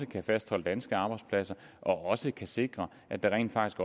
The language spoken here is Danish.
kan fastholde danske arbejdspladser og også kan sikre at der rent faktisk